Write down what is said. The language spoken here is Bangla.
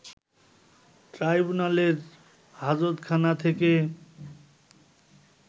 ট্রাইব্যুনালের হাজতখানা থেকে